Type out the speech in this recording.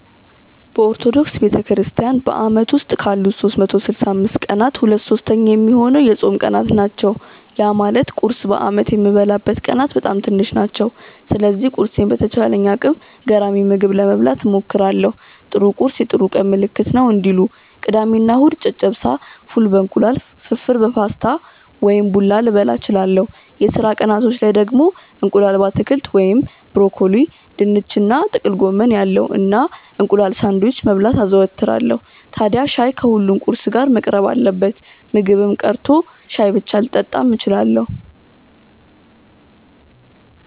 በኦርቶዶክስ ቤተክርስትያን በአመት ውስጥ ካሉት 365 ቀናት ሁለት ሶስተኛ ሚሆነው የጾም ቀናት ናቸው። ያ ማለት ቁርስ በአመት የምበላበት ቀናት በጣም ትንሽ ናቸው። ስለዚህ ቁርሴን በተቻለኝ አቅም ገራሚ ምግብ ለመብላት እሞክራለው 'ጥሩ ቁርስ የጥሩ ቀን ምልክት ነው' እንዲሉ። ቅዳሜ እና እሁድ ጨጨብሳ፣ ፉል በ እንቁላል፣ ፍርፍር በፓስታ ወይም ቡላ ልበላ እችላለው። የስራ ቀናቶች ላይ ደግሞ እንቁላል በአትክልት (ብሮኮሊ፣ ድንች እና ጥቅል ጎመን ያለው) እና እንቁላል ሳንድዊች መብላት አዘወትራለው። ታድያ ሻይ ከሁሉም ቁርስ ጋር መቅረብ አለበት። ምግብም ቀርቶ ሻይ ብቻ ልጠጣም እችላለው።